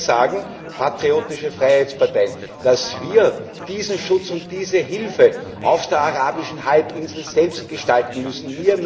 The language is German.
Wir, patriotische Freiheitsparteien, sagen, dass wir diesen Schutz und diese Hilfe auf der arabischen Halbinsel selbst gestalten müssen.